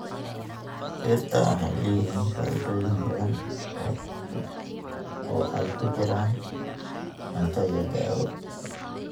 Dhirta waxay leeyihiin faa'iidooyin badan, oo ay ku jiraan cunto iyo daawo.